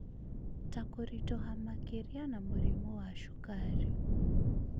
ta kũritũha makĩria na mũrimũ wa cukari.